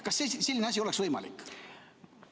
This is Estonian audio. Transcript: Kas selline asi oleks võimalik?